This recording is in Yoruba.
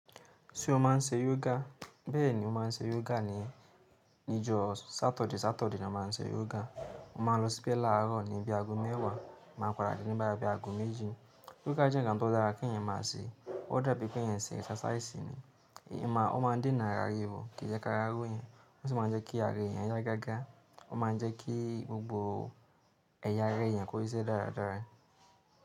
Ṣé o máà ń ṣe yoga? Bẹ́ẹ̀ni, mo máa ń ṣe yoga ni ijọ́ Saturday. Saturday ni a máa ń ṣe yoga. Mo máa ń lọ síbẹ̀ láààrọ̀ ní ibi ago mẹ́wàá, máa padà dé ni boya bi ago méjì. Yoga jẹ́ ǹkan tó dára kí ẹ̀yàn máa ṣe. Ó dàbí kí ẹ̀yàn ṣe exercise ni. Eyan ma n ò ó máa ń dènà ara ríro, kì í jẹ́ ká ra ro yẹn, ó sì máa ń jẹ́ kí ara eyan yá gágá. Ó máa ń jẹ́ kí gbogbo ẹ̀yà ara eyan kó síse dáradára.